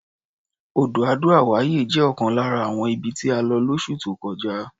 Odò Ado-Away jẹ́ ọ̀kan lára àwọn ibi tí a lọ lóṣù tó kọjá.